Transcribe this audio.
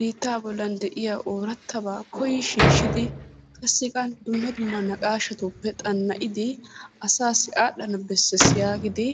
Biittaa bollan de'iya oorattabaa koyi shiishshidi qassikka dumma dumma naqaashatuppe xanna'idi asaassi aadhdhana bessees yaagidi